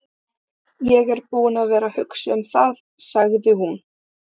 Ég er búin að vera að hugsa um það, sagði hún.